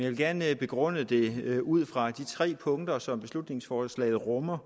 vil gerne begrunde det ud fra de tre punkter som beslutningsforslaget rummer